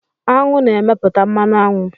Aṅụ na-emeputa mmanụ aṅụ